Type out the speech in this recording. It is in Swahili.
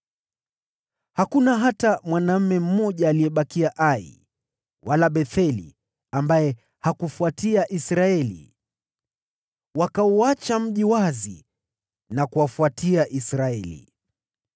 Hakuna hata mwanaume mmoja aliyebakia Ai wala Betheli ambaye hakufuatia Israeli. Wakauacha mji wazi na kuwafuatia Israeli.